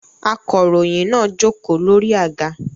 Akọ̀ròyìn náà jókòó lórí àga